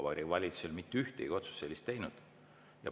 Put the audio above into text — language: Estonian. Vabariigi Valitsus ei ole mitte ühtegi sellist otsust teinud.